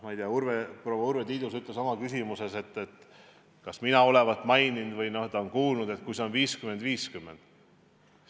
Ma ei tea, proua Urve Tiidus mainis oma küsimuses, et kas mina olevat öelnud või olevat ta mujalt kuulnud, et proportsiooniks võib kujuneda 50 : 50.